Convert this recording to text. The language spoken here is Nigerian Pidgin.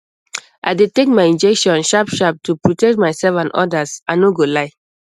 i dey take my injection sharpsharp to protect myself and others i no go lie